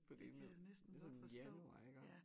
Fordi nu det sådan januar iggå